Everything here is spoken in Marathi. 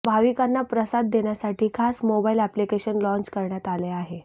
भाविकांना प्रसाद देण्यासाठी खास मोबाइल अप्लिकेशन लाँच करण्यात आले आहे